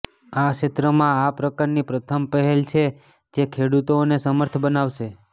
આ ક્ષેત્રમાં આ પ્રકારની પ્રથમ પહેલ છે જે ખેડૂતોને સમર્થ બનાવશે